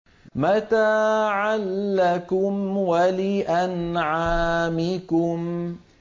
مَتَاعًا لَّكُمْ وَلِأَنْعَامِكُمْ